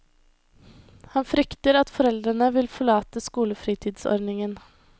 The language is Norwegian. Han frykter at foreldre vil forlate skolefritidsordningen.